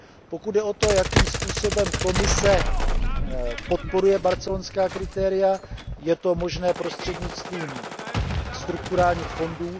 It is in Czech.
Pokud jde o to, jakým způsobem Komise podporuje barcelonská kritéria, je to možné prostřednictvím strukturálních fondů.